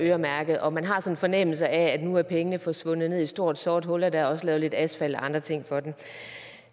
øremærket og man har sådan en fornemmelse af at nu er pengene forsvundet ned i et stort sort hul og der også er lavet lidt asfalt og andre ting for den